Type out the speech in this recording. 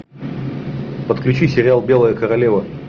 подключи сериал белая королева